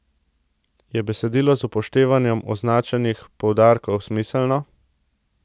Je besedilo z upoštevanjem označenih poudarkov smiselno?